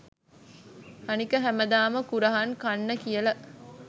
අනික හැමදාම කුරහන් කන්න කියල